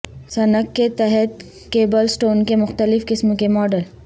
sink کے تحت کیبلسٹون کے مختلف قسم کے ماڈل